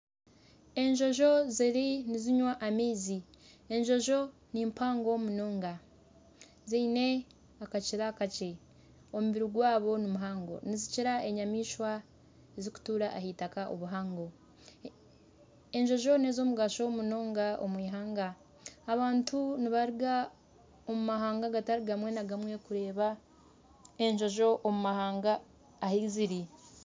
Enjojo ziriyo nizinywa amaizi, enjojo nimpango munonga, ziine akakira kakye, omubiri gwazo nimuhango munonga nizikira enyamaishwa ezirikutuura ahaitaka obuhango, enjojo n'ez'omugasho munonga omu ihanga, abantu nibaruga omu mahanga agatari gamwe na gumwe kureeba enjojo omu mahanga ahu ziri